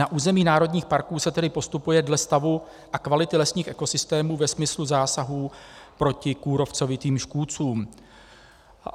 Na území národních parků se tedy postupuje dle stavu a kvality lesních ekosystémů ve smyslu zásahů proti kůrovcovitým škůdcům.